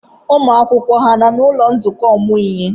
Ụmụ akwụkwọ ha nọ n'ụlọ nzukọ ọmụmụ ihe?